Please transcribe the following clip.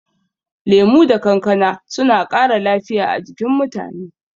Lemu da kankana suna ƙara lafiya a jikin mutane.